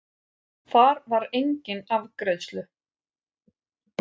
Þar var enginn afgreiðslu